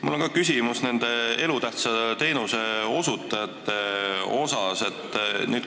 Mul on ka küsimus elutähtsa teenuse osutajate kohta.